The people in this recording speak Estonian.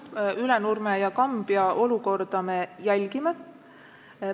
Jah, Ülenurme ja Kambja olukorda me jälgime.